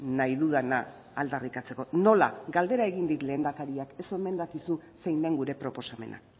nahi dudana aldarrikatzeko nola galdera egin dit lehendakariak ez omen dakizu zein den gure proposamena